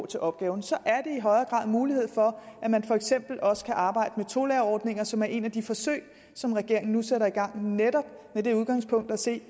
til opgaven så er der i højere grad mulighed for at man for eksempel også kan arbejde med tolærerordninger som er et af de forsøg som regeringen nu sætter i gang netop med det udgangspunkt at se